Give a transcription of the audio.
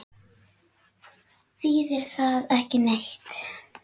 Þýðir það ekki neitt?